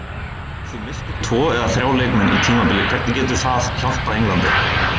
Ef þú missir tvo eða þrjá leikmenn á tímabili hvernig getur það hjálpað Englandi?